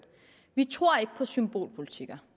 vi tror ikke på symbolpolitik